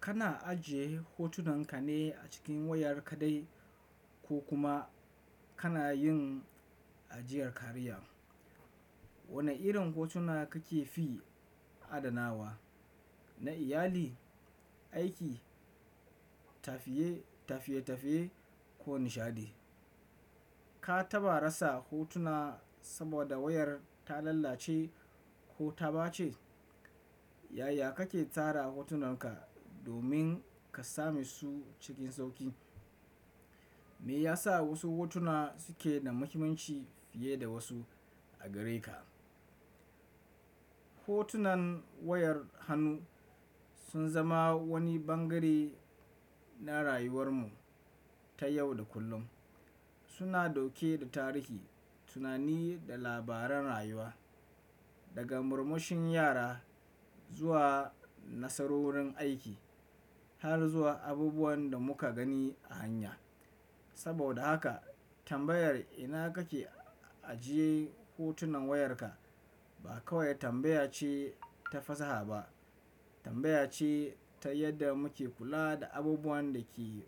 Kana ajiye hotunan ka ne a cikin wayar kaɗai ko kuma kana yin ajiyar kariya? Wane irin hotuna kake fi adanawa? Na iyali, aiki, tafiye-tafiye ko nishaɗi? Ka taɓa rasa hotuna saboda wayar ta lalace ko ta ɓace? Yaya kake tara hotunan ka domin ka same su cikin sauƙi? Meyasa wasu hotuna suke da muhimmanci fiye da wasu a gare ka hotunan wayar hannu sun zama wani bangare na rayuwar mu ta yau da kullum. Suna ɗauke da tarihi, tunani da labaran rayuwa, daga murmushin yara zuwa nasarorin aiki, har zuwa abubuwan da muka gani a hanya. Saboda haka, tambayar ina kake ajiye hotunan wayarka ba kawai tambaya ce ta fasaha ba, tambaya ce ta yadda muke kula da abubuwan da ke